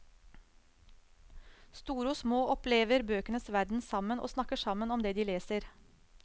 Store og små opplever bøkenes verden sammen og snakker sammen om det de leser.